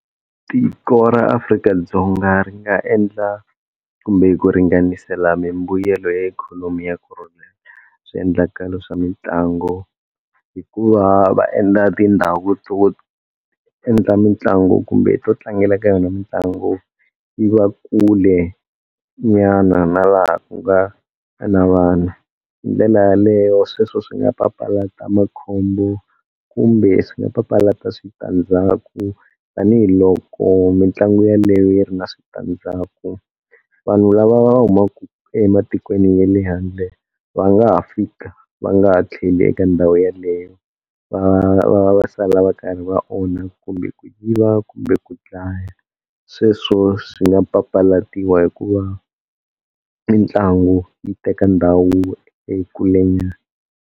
Tiko ra Afrika-Dzonga ri nga endla kumbe ku ringanisela mimbuyelo ya ikhonomi ya swiendlakalo swa mitlangu hikuva va endla tindhawu to endla mitlangu kumbe to tlangela ka yona mitlangu yi va kule nyana na laha ku nga na vana, hi ndlela yaleyo sweswo swi nga papalata makhombo kumbe swi nga papalata switandzhaku tanihiloko mitlangu yaleyo yi ri na switandzhaku. Vanhu lava va humaku ematikweni ya le handle va nga ha fika va nga ha tlheli eka ndhawu yeleyo va va va va sala va karhi va onha kumbe ku yiva kumbe ku dlaya sweswo swi nga papalatiwa hi ku va mitlangu yi teka ndhawu ekulenyana.